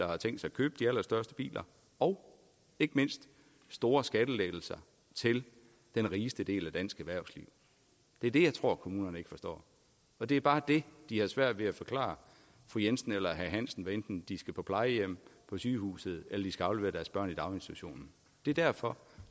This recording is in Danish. og har tænkt sig at købe de allerstørste biler og ikke mindst store skattelettelser til den rigeste del af dansk erhvervsliv det er det jeg tror kommunerne ikke forstår det er bare det de har svært ved at forklare fru jensen eller herre hansen hvad enten de skal på plejehjem på sygehuset eller skal aflevere deres børn i daginstitution det er derfor